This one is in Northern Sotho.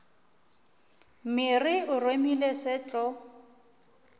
mere o remile se tlo